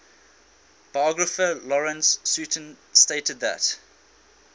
biographer lawrence sutin stated that